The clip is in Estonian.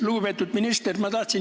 Lugupeetud minister!